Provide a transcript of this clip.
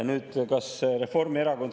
Nüüd, kas Reformierakond on …